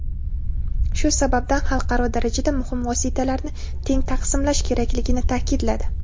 shu sababdan xalqaro darajada muhim vositalarni teng taqsimlash kerakligini ta’kidladi.